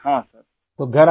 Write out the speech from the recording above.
ہاں سر ! ہاں سر !